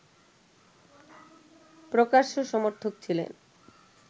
প্রকাশ্য সমর্থক ছিলেন